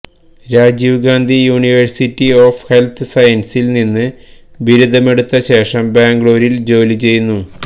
Rajeev Gandhi university of health സയൻസിൽ നിന്ന് ബിരുദമെടുത്ത ശേഷം ബംഗളൂരിൽ ജോലി ചെയ്യുന്നു